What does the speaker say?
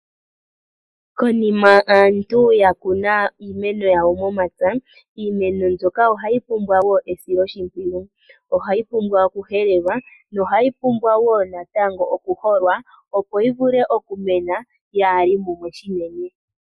Konima aantu ya kuna iimeno yawo momapya, iimeno mbyoka ohayi pumbwa wo esiloshimpwiyu. Ohayi pumbwa okuhelelwa no hayi pumbwa wo natango okuholwa opo yi vule okumena yaali mumwe shinene.